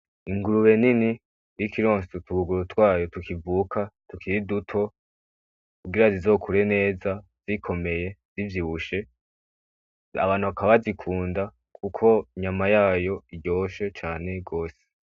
Ingurube nini iriko ironsa utubuguru twayo tukivuka tukiri duto kugira zizokure neza zikomeye, zivyibushe, abantu bakaba bazikunda kuko inyama yayo iryoshe cane gose.